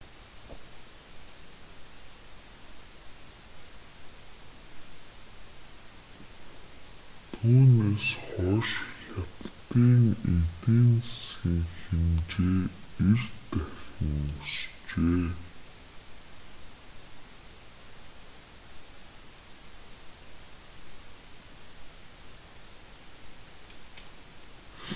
түүнээс хойш хятадын эдийн засгийн хэмжээ 90 дахин өсжээ